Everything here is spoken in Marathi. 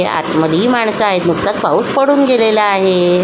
हि आतमधली माणस आहेत नुकताच पाऊस पडून गेलेला आहे.